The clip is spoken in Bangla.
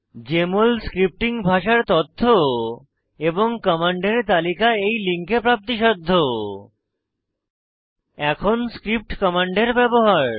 জেএমএল স্ক্রিপ্টিং ভাষার তথ্য এবং কমান্ডের তালিকা এই লিঙ্কে প্রাপ্তিসাধ্য httpchemappsstolafedujmoldocs এখন স্ক্রিপ্ট কমান্ডের ব্যবহার